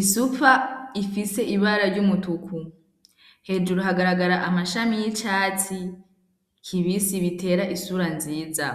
isupfa ifise ibara ry'umutuku hejuru hagaragara amashami y'icatsi kibisi bitera isura nziza.